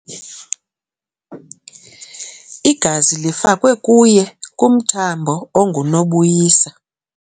Igazi lifakwe kuye kumthambo ongunobuyisa.